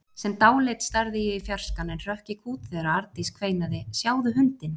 Sem dáleidd starði ég í fjarskann en hrökk í kút þegar Arndís kveinaði: Sjáðu hundinn!